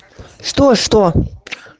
что что